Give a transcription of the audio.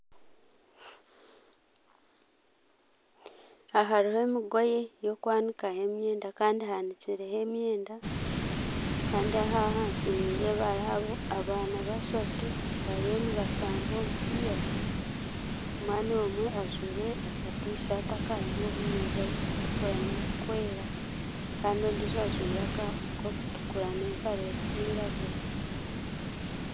Aha hariho emigoye y'okwanimaho emyenda Kandi ehanikireho emyenda Kandi ahansi hariho abaana bashatu bariyo nibashamba omupiira omwana omwe ajwaire akatishati akarimu obunyiriri burikutukura n'oburikwera Kandi ondiijo ajwaire akarikutukura nempare erikwiragura